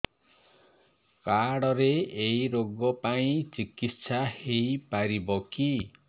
card ରେ ଏଇ ରୋଗ ପାଇଁ ଚିକିତ୍ସା ହେଇପାରିବ କି